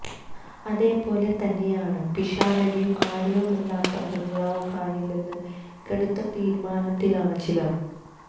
അതേ പോലെ തന്നെയാണ് പിഷാരടിയും ആര്യയുമില്ലാത്ത ബംഗ്ലാവ് കാണില്ലെന്ന കടുത്ത തീരുമാനത്തിലാണ് ചിലര്